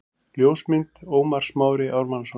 Ljósmynd: Ómar Smári Ármannsson